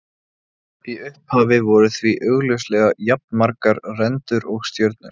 Í upphafi voru því augljóslega jafnmargar rendur og stjörnur.